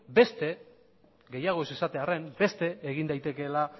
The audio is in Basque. gehiago ez esatearren beste egin daitekeela